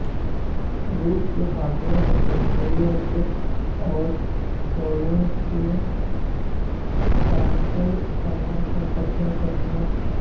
روس کے حامیوں نے جمہوریہ چیک اور پولینڈ کے قونصل خانوں پر قبضہ کر لیا